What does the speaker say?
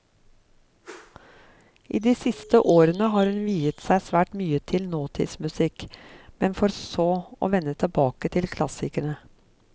I de siste årene har hun viet seg svært mye til nåtidsmusikk, men for så å vende tilbake til klassikerne.